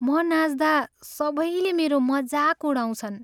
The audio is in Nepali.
म नाच्दा सबैले मेरो मजाक उडाउँछन्।